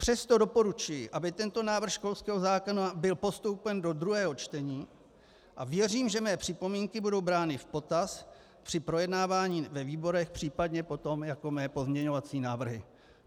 Přesto doporučuji, aby tento návrh školského zákona byl postoupen do druhého čtení, a věřím, že mé připomínky budou brány v potaz při projednávání ve výborech, případně potom jako mé pozměňovací návrhy.